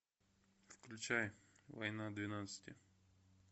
включай война двенадцати